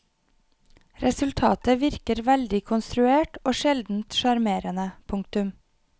Resultatet virker veldig konstruert og sjelden sjarmerende. punktum